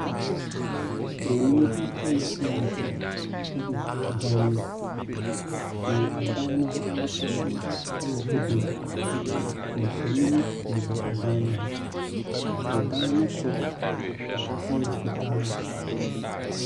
Buroni nkonnwa nwɔtwe gugu dan mu, na dan no ho afasuo yɛ bedeɛ. Mfonin bobɔ dan no ho. Dan no soro yɛ fitaa.